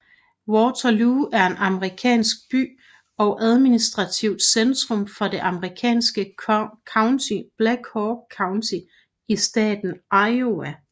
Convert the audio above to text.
Waterloo er en amerikansk by og administrativt centrum for det amerikanske county Black Hawk County i staten Iowa